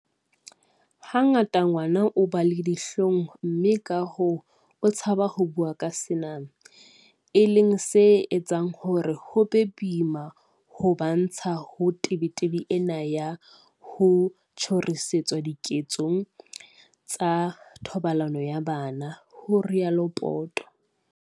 "Hangata ngwana o ba le dihlong mme kahoo o tshaba ho bua ka sena, e leng se etsang hore ho be boima ho ba ntsha ho tebetebeng ena ya ho tjhorisetswa diketso tsa thobalano ya bana," ho rialo Poto.